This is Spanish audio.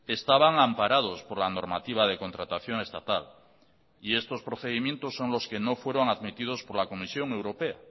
estaban amparados por la normativa de contratación estatal y estos procedimientos son los que no fueron admitidos por la comisión europea